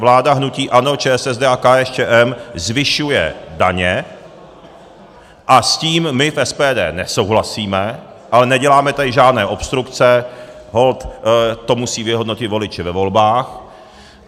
Vláda hnutí ANO, ČSSD a KSČM zvyšuje daně a s tím my v SPD nesouhlasíme, ale neděláme tady žádné obstrukce, holt to musí vyhodnotit voliči ve volbách.